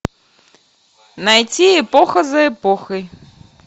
найти эпоха за эпохой